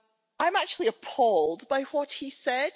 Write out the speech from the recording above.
I'm actually appalled by what he said.